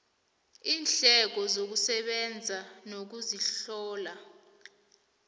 iindleko zokusebenza nokuzihlola